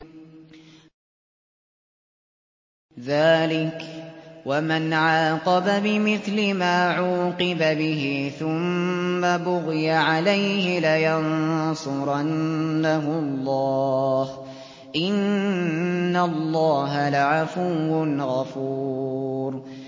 ۞ ذَٰلِكَ وَمَنْ عَاقَبَ بِمِثْلِ مَا عُوقِبَ بِهِ ثُمَّ بُغِيَ عَلَيْهِ لَيَنصُرَنَّهُ اللَّهُ ۗ إِنَّ اللَّهَ لَعَفُوٌّ غَفُورٌ